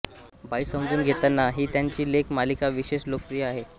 बाई समजून घेताना ही त्यांची लेख मालिका विशेष लोकप्रिय आहे